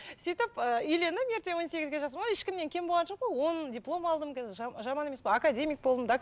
сөйтіп ы үйлендім ерте он сегізде жасым ешкімнен кем болған жоқпын ғой он диплом алдым қазір жаман есепін академик болдым